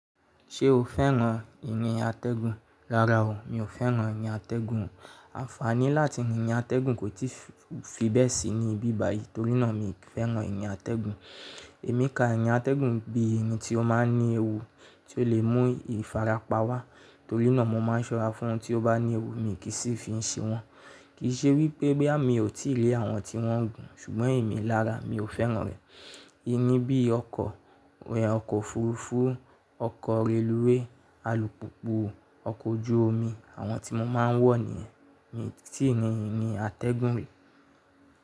Ṣé o fẹ́ran ìrìn atẹ́gùn? Rárá o, mi ò fẹ́ran ìnìyí atẹ́gùn. Ànfàní láti rìn ní atẹ́gùn kò i tíì fi bẹ́ẹ̀ sí ní ibí báyìí, torí náà mi ò fẹ́ran ìrin atẹ́gùn. Èmi ká ìrìn atẹ́gùn bíi ìrìn tí ó ma ń ní ewu, tí ó lè mú ìfarapa wá. Torí náà, mo máa ń ṣọ́ra fún ohun tí ó bá ní ewu, mi kì í sì fi ṣe wọn. Kìí ṣe wípé bóyá mi ò tí lè àwọn tí wọ́n ń fún, ṣùgbọ́n èmi alára, mi ò fẹ́ràn rẹ̀. Ìrin bií ọkọ̀, ọkọ̀ òfurufú, ọkọ̀ reluwé, alùpùpù, ọkọ̀ ojú omi àwọn tí mo máa ń wọ̀ nìyẹn. Mi ò tíì rìn ìrìn atẹ́gùn rí.